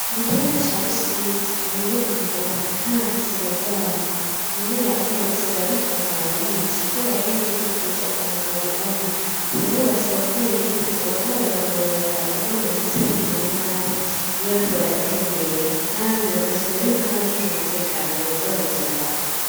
Mu kiyaga ca lusizi hari iyo imvubu, kandi ziraryana imwe yatorotse barayifata barayica, kubera yahejeje kurya umugabo umwe uburero burasaba ko abene igihugu boazabarara mu barabara kugera ngo ntizibagirire nabi iyo bari ko baratembera, kandi bagasaba yuko an'abajeje umutekano bozabara ziraba.